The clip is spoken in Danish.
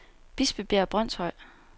Bispebjerg Brønshøj